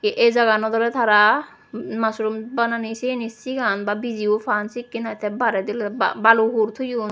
eh ey jagaganot oley tara mushroom bananey siyeni sigan ba bijiyo paan sekkwn aai te bairedi oley balu hur toyon.